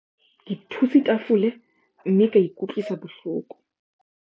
Ke thutse tafole mme ka ikutlwisa bohloko.